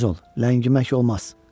Tez ol, ləngimək olmaz.